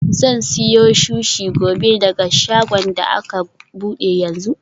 Zan siyo sushi gobe daga shagon da aka bude yanzu.